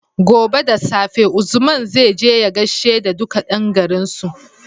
Gobe da safe Usman zai je ya gashe da duka yan garin su